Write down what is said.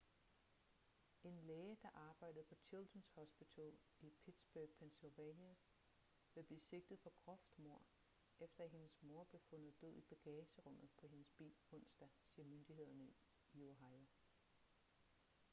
en læge der arbejdede på children's hospital i pittsburgh pennsylvania vil blive sigtet for groft mord efter at hendes mor blev fundet død i bagagerummet på hendes bil onsdag siger myndighederne i ohio